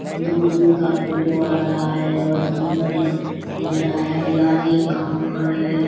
दूर-दूर का फोटो आ रहा है और सुंदर लग-लग रहा है हरियाली है घर है।